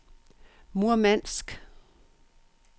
Murmansk